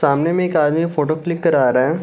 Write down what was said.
सामने में एक आदमी फोटो क्लिक करवा रहा है।